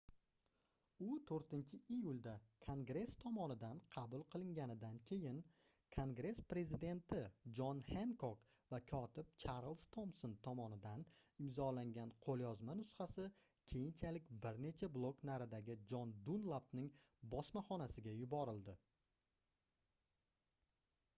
u 4-iyulda kongress tomonidan qabul qilinganidan keyin kongress prezidenti jon henkok va kotib charlz tomson tomonidan imzolangan qoʻlyozma nusxasi keyinchalik bir necha blok naridagi jon dunlapning bosmaxonasiga yuborildi